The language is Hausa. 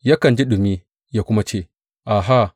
Yakan ji ɗumi yă kuma ce, Aha!